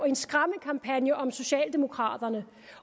en skræmmekampagne om socialdemokraterne